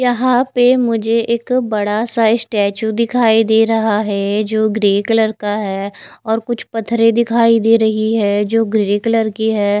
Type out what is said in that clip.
यहां पे मुझे एक बड़ा सा स्टैचू दिखाई दे रहा है जो ग्रे कलर का है और कुछ पथरे दिखाई दे रही है जो ग्रे कलर की है।